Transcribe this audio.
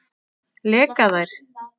Leka þær?